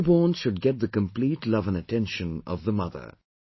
The newborn should get the complete love and attention of the mother